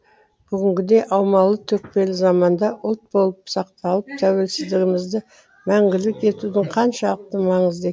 бүгінгідей аумалы төкпелі заманда ұлт болып сақталып тәуелсіздігімізді мәңгілік етудің қаншалықты маңызды